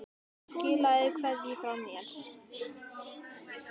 Skilaðu kveðju frá mér.